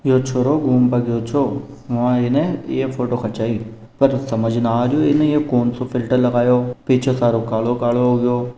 यो छोरो घूम पे गयो छो बहा अने ये फोटो खचाई पर समझ नि आ रायो अने ये कोनसो फ़िल्टर लगाओ पीछे सारो कालो कालो हो गयो।